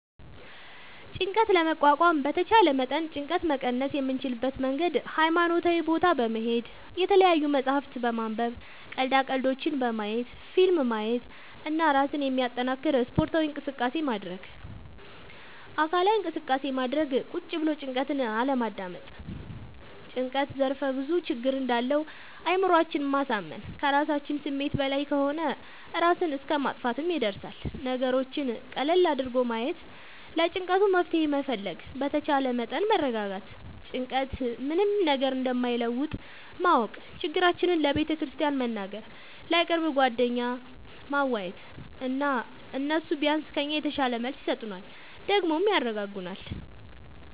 ጭንቀት ለመቋቋም በተቻለ መጠን ጭንቀት መቀነስ የምንችልበት መንገድ ሀይማኖታዊ ቦታ በመሄድ፣ የተለያዪ መፅሀፍት በማንበብ፣ ቀልዳ ቀልዶች በማየት፣ ፊልም ማየት እና እራስን የሚያጠነክር ስፓርታዊ እንቅስቃሴ ማድረግ። አካላዊ እንቅስቃሴ ማድረግ ቁጭ ብሎ ጭንቀትን አለማዳመጥ። ጭንቀት ዘርፍ ብዙ ችግር እንዳለው አእምሮአችን ማሳመን ከራሳችን ስሜት በላይ ከሆነ እራስን እስከ ማጥፍትም ይደርሳል። ነገሮችን ቀለል አድርጎ ማየት ለጭንቀቱ መፍትሄ መፈለግ በተቻለ መጠን መረጋጋት ጭንቀት ምንም ነገር እንደማይለውጥ ማወቅ ችግራችን ለቤተክርስቲያን መንገር፣ ለቅርብ ጓደኛ ማዋየት እና እነሱ ቢያንስ ከኛ የተሻለ መልስ ይሰጡናል ደግሞም ያረጋጉናል።